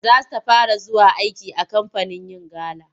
Za ta fara zuwa aiki a kamfanin yin gala.